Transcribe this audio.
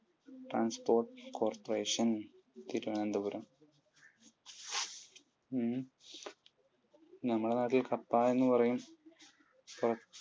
transport corporation Thiruvananthapuram. നമ്മുടെ നാട്ടിൽ കപ്പ എന്ന് പറയും.